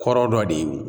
Kɔrɔ dɔ de